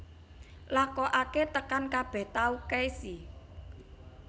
Lakokaké tekan kabèh tahu keisi